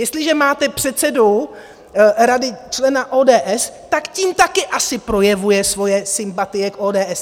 Jestliže máte předsedu rady - člena ODS, tak tím taky asi projevuje svoje sympatie k ODS.